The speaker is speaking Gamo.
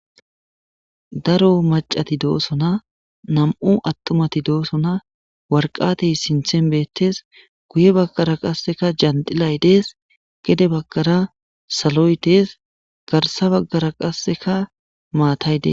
Daro maccathi doosona; nam7u aththumathi doosona; waraqate sinththen beeththees; guye baggara qassikka janxxilay dees; gede baggara saloy dees; garssa baggara qassikka maathay dees.